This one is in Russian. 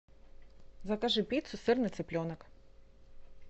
закажи пиццу сырный цыпленок